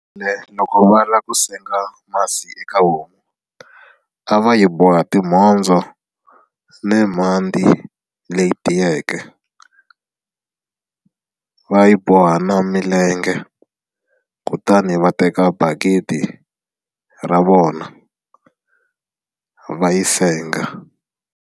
loko va lava ku senga masi eka homu a va yi boha timhondzo ni mhandzi leyi tiyeke va yi boha na milenge kutani va teka bakiti ra vona va yi senga.